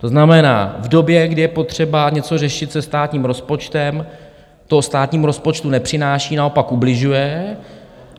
To znamená, v době, kdy je potřeba něco řešit se státním rozpočtem, to státnímu rozpočtu nepřináší, naopak ubližuje.